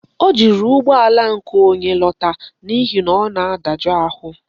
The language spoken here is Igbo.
O jiri ụgbọala nke onye lọta n'ihi na ọ na-adajụ ahụ.